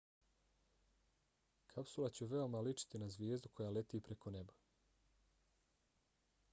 kapsula će veoma ličiti na zvijezdu koja leti preko neba